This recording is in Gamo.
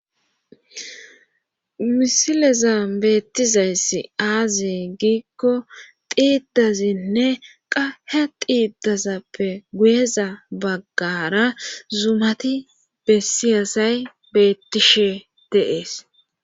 misilezan beettizayssi aaze giikko xiidazinne qas diidazappe guyeza baggara zumati bessiyasay bettishe de'ees